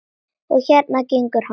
Og hérna gengur hann.